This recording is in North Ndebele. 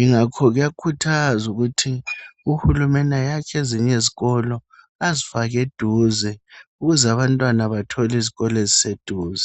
Ingakho kuyakhuthazwa ukuthi uhulumeni, ayakhe ezinye izikolo. Azifake eduze. Ukuze abantwana bathole izikolo eziseduze.